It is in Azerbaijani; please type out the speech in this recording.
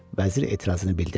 vəzir etirazını bildirdi.